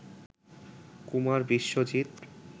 Kumar Biswajit